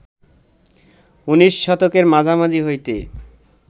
উনিশ শতকের মাঝামাঝি হইতে